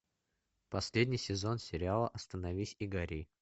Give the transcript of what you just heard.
последний сезон сериала остановись и гори